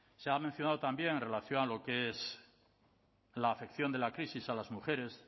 se ha mencionado también en relación con lo que es la afección de la crisis a las mujeres